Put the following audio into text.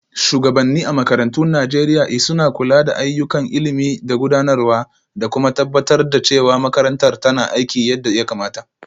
Shugabanni a makarantun Najeriya l suna kula da ayyukan ilimi da gudanarwa, da kuma tabbatar da cewa makarantar tana aiki yadda ya kamata.